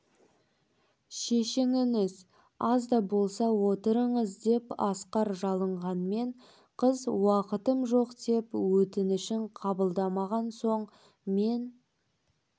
шешініңіз аз да болса отырыңыз деп асқар жалынғанмен қыз уақытым жоқ деп өтінішін қабылдамаған соң мен